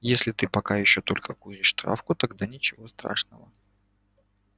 если ты пока ещё только куришь травку тогда ничего страшного